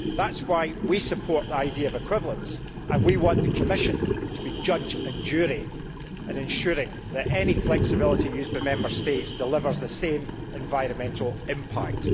That is why we support the idea of equivalence and we want the Commission to be judge and jury in ensuring that any flexibility used by Member States delivers the same environmental impact.